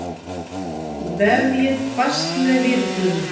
Vefjið fast með vírnum.